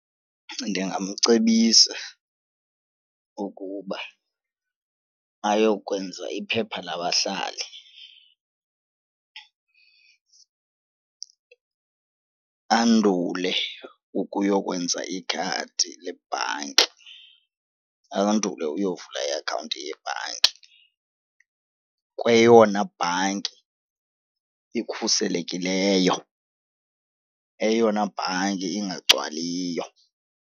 Ndingamcebisa ukuba ayokwenza iphepha labahlali andule ukuyokwenza ikhadi lebhanki andule ukuyovula iakhawunti yebhanki kweyona bhanki ikhuselekileyo, eyona bhanki ingagcwaliyo.